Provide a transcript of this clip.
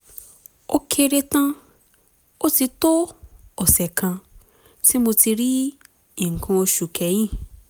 ó kéré tán ó ti tó ọ̀sẹ̀ kan tí mo ti rí nǹkan oṣù kẹ́yìn